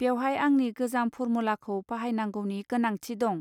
बेवहाय आंनि गोजाम फरमुलाखौ बाहायनांगौनि गोनांथि दं